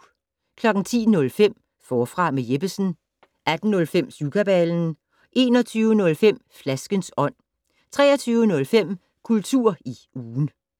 10:05: Forfra med Jeppesen 18:05: Syvkabalen 21:05: Flaskens ånd 23:05: Kultur i ugen